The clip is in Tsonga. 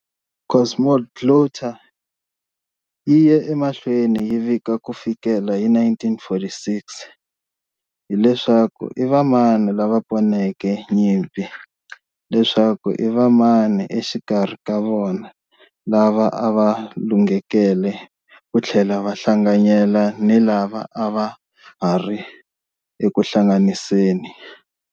Cosmoglotta yi ye emahlweni yi vika ku fikela hi 1946 hi leswaku i vamani lava poneke nyimpi, leswaku i vamani exikarhi ka vona lava a va lunghekele ku tlhela va hlanganyela ni lava a va ha ri eku hlanganiseni.